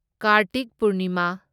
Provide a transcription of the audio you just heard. Kartik Purnima